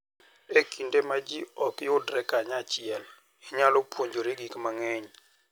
E kinde ma ji ok yudre kanyachiel, inyalo puonjori gik mang'eny.